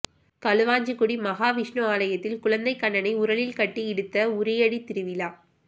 களுவாஞ்சிகுடி மகா விஸ்ணு ஆலயத்தில் குழந்தை கண்ணனை உரலில் கட்டி இழுத்த உறியடித் திருவிழா